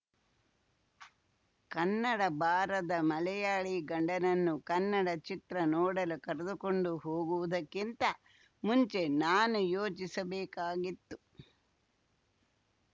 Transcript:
ಕನ್ನಡ ಬಾರದ ಮಲಯಾಳಿ ಗಂಡನನ್ನು ಕನ್ನಡ ಚಿತ್ರ ನೋಡಲು ಕರೆದುಕೊಂಡು ಹೋಗುವುದಕ್ಕಿಂತ ಮುಂಚೆ ನಾನು ಯೋಚಿಸಬೇಕಾಗಿತ್ತು